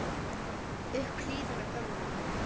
upp í hlíðina gömlu